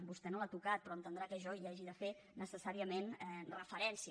vostè no l’ha tocat però ha d’entendre que jo hi hagi de fer necessàriament referència